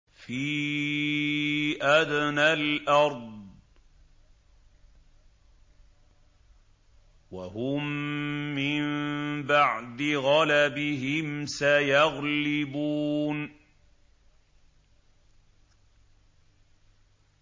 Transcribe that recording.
فِي أَدْنَى الْأَرْضِ وَهُم مِّن بَعْدِ غَلَبِهِمْ سَيَغْلِبُونَ